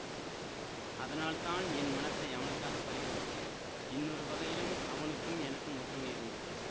அதனால் தான் என் மனத்தை அவனுக்காகப் பறிகொடுத்தேன் இன்னொரு வகையிலும் அவனுக்கும் எனக்கும் ஒற்றுமை இருந்தது